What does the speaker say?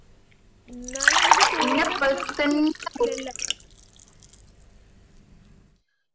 ന്നാലും മ്മക്ക് tour പോവ്വാൻ കയ്യുള്ളു